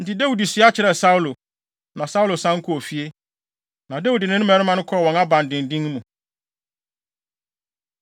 Enti Dawid sua kyerɛɛ Saulo. Na Saulo san kɔɔ fie, na Dawid ne ne mmarima kɔɔ wɔn abandennen mu.